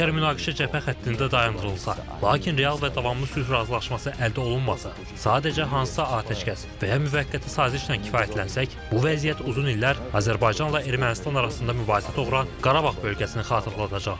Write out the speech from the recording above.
Əgər münaqişə cəbhə xəttində dayandırılsa, lakin real və davamlı sülh razılaşması əldə olunmasa, sadəcə hansısa atəşkəs və ya müvəqqəti sazişlə kifayətlənsək, bu vəziyyət uzun illər Azərbaycanla Ermənistan arasında mübahisə doğuran Qarabağ bölgəsini xatırladacaq.